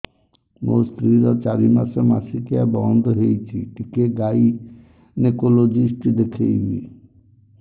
ମୋ ସ୍ତ୍ରୀ ର ଚାରି ମାସ ମାସିକିଆ ବନ୍ଦ ହେଇଛି ଟିକେ ଗାଇନେକୋଲୋଜିଷ୍ଟ ଦେଖେଇବି